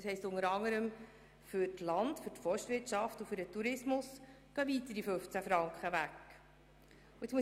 Das heisst, es gehen unter anderem für die Land- und Forstwirtschaft und den Tourismus weitere 15 Franken weg.